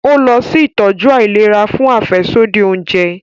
O lọ si itọju àìlera fún afẹsodi oúnjẹ